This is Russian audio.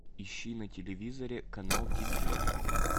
ищи на телевизоре канал ти джи